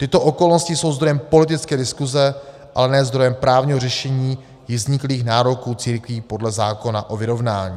Tyto okolnosti jsou zdrojem politické diskuse, ale ne zdrojem právního řešení již vzniklých nároků církví podle zákona o vyrovnání.